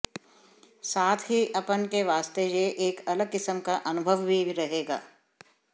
साथ ही अपन के वास्ते यह एक अलग किस्म का अनुभव भी रहेगा